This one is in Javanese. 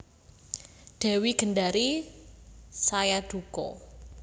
Dewi Gendari saya duka